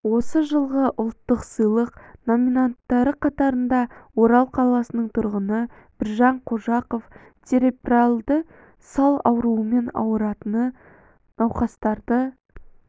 осы жылғы ұлттық сыйлық номинанттары қатарында орал қаласының тұрғыны біржан қожақов церебральды сал ауруымен ауыратын науқастарды